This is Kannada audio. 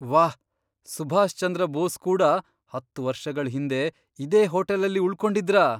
ವಾಹ್! ಸುಭಾಷ್ ಚಂದ್ರ ಬೋಸ್ ಕೂಡ ಹತ್ತ್ ವರ್ಷಗಳ್ ಹಿಂದೆ ಇದೇ ಹೋಟೆಲಲ್ಲಿ ಉಳ್ಕೊಂಡಿದ್ರಾ?